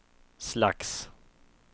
slags